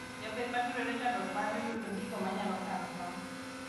Jopih matindo yudo chandruok mar yudo gigo manyalo kano tong